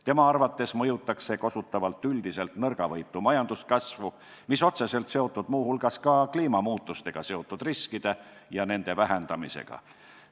Tema arvates mõjuks see kosutavalt nõrgavõitu majanduskasvule, mis on otseselt seotud ka kliimamuutustest tulenevate riskide ja nende vähendamisega.